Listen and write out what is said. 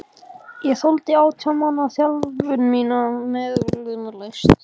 Ég þoldi átján mánaða þjálfun mína möglunarlaust.